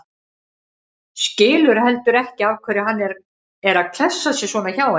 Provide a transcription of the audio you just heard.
Skilur heldur ekki af hverju hann er að klessa sér svona hjá henni.